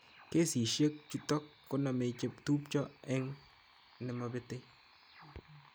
Kesishek chutok koname chetupcho eng xnemapete